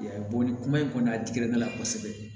ni kuma in kɔni a digira ne la kosɛbɛ